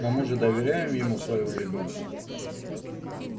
но мы же доверяем ему своего ребёнка